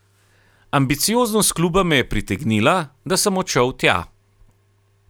Ambicioznost kluba me je pritegnila, da sem odšel tja.